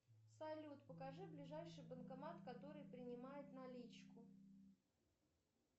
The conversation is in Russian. салют покажи ближайший банкомат который принимает наличку